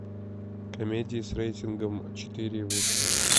комедии с рейтингом четыре и выше